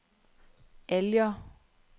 Alger